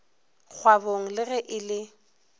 kgwabong le ge e le